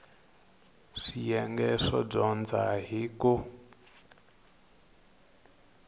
swiyenge swo dyondza hi ku